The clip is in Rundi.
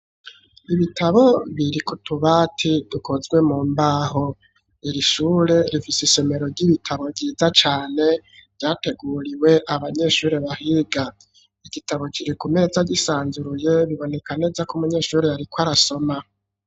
Ibitabo biri kutubati dukozwe mu mbaho iri shure rifise isomero ry'ibitabo ryiza cane ryateguriwe abanyeshuri bahiga, igitabo kiri ku meza gisanzuruye biboneka neza ko umunyeshuri yariko arasoma.